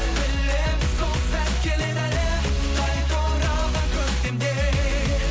білемін сол сәт келеді әлі қайта оралған көктемдей